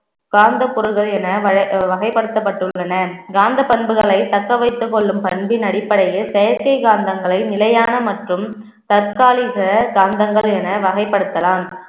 காந்தப் பொருள்கள் என வ~ வகைப்படுத்தப்பட்டுள்ளன காந்தப் பண்புகளைத் தக்க வைத்துக் கொள்ளும் பண்பின் அடிப்படையில் செயற்கைக் காந்தங்களை நிலையான மற்றும் தற்காலிக காந்தங்கள் என வகைப்படுத்தலாம்